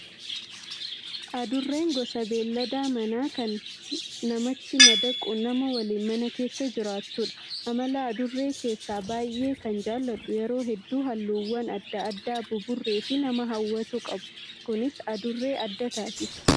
Adurreen gosa beellada manaa kan namatti madaquun nama waliin mana keessa jiraattudha. Amala adurree keessaa baay'ee kana jaalladhu yeroo hedduu halluuwwan adda addaa buburree fi nama hawwatu qabu. Kunis adurree adda taasisa.